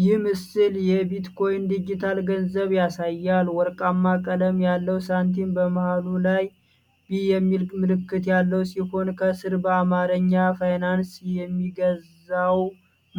ይህ ምስል የቢትኮይን ዲጂታል ገንዘብ ያሳያል። ወርቃማ ቀለም ያለው ሳንቲም በመሃሉ ላይ "B" የሚል ምልክት ያለው ሲሆን፣ ከሥር በአማርኛ "ፋይናንስን የሚገዛው